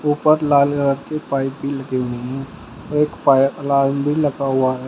ऊपर लाल कलर की एक पाइप भी लगी हुई हैं एक फायर अलार्म भी लगा हुआ है।